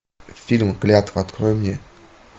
фильм клятва открой мне